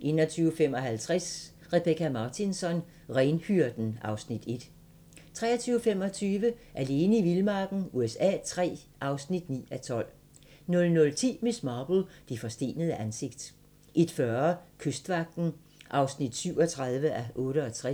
21:55: Rebecka Martinsson: Renhyrden (Afs. 1) 23:25: Alene i vildmarken USA III (9:12) 00:10: Miss Marple: Det forstenede ansigt 01:40: Kystvagten (37:68)